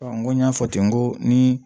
n ko n y'a fɔ ten ko ni